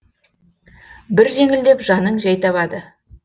бір жеңілдеп жаның жәй табады